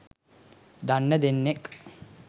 දන්න දෙන්නෙක්